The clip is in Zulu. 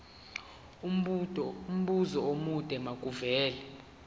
umbuzo omude makuvele